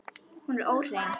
Hún er óhrein.